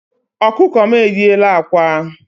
Ọkụkọ m e yiela ákwà.